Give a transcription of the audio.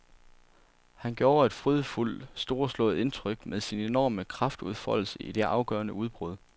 Han gjorde et frydefuldt storslået indtryk med sin enorme kraftudfoldelse i det afgørende udbrud.